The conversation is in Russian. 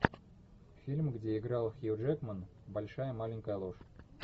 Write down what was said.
фильм где играл хью джекман большая маленькая ложь